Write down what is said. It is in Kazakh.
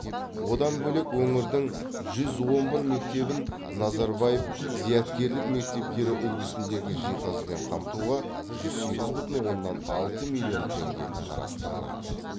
одан бөлек өңірдің жүз он бір мектебін назарбаев зияткерлік мектептері үлгісіндегі жиһазбен қамтуға жүз сегіз бүтін оннан алты миллион теңге қарастырылады